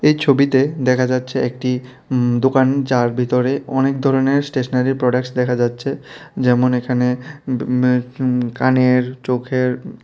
এই ছবিতে দেখা যাচ্ছে একটি উম দোকান যার ভিতরে অনেক ধরনের স্টেশনারি প্রোডাক্টস দেখা যাচ্ছে যেমন এখানে উম উ উ কানের চোখের--